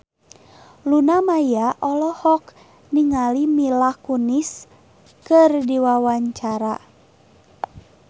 Luna Maya olohok ningali Mila Kunis keur diwawancara